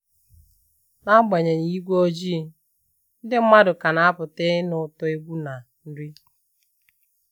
N'agbanyeghị igwe ojii, ndị mmadụ ka na-apụta ịnụ ụtọ egwu na nri